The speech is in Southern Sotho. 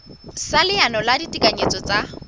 sa leano la ditekanyetso tsa